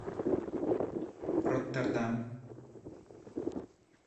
роттердам